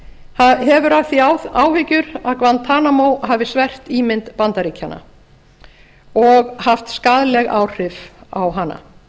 aðmíráll hefur af því áhyggjur að guantanamo hafi svert ímynd bandaríkjanna og haft skaðleg áhrif á hana